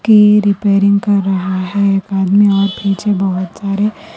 میرے پیرنگ کر رہا ہے ایک ادمی اور پیچھے بہت سارے.